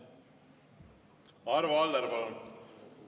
Arvo Aller, palun!